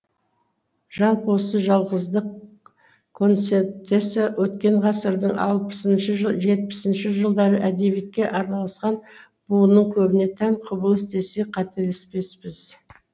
жалпы осы жалғыздық концептісі өткен ғасырдың алпысыншы жетпісінші жылдары әдебиетке араласқан буынның көбіне тән құбылыс десек қателеспеспіз